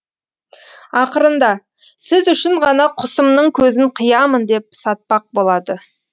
ақырында сіз үшін ғана құсымның көзін қиямын деп сатпақ болады